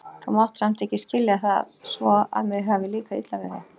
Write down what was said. Þú mátt samt ekki skilja það svo, að mér hafi líkað illa við þig.